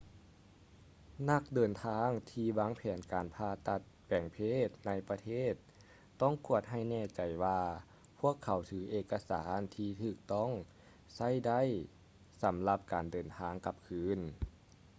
ນັກເດີນທາງທີ່ວາງແຜນການຜ່າຕັດແປງເພດໃນຕ່າງປະເທດຕ້ອງກວດໃຫ້ແນ່ໃຈວ່າພວກເຂົາຖືເອກະສານທີ່ຖືກຕ້ອງໃຊ້ໄດ້ ສຳລັບການເດີນທາງກັບຄືນ